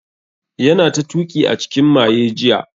Yana ta tuki a cikin maye jiya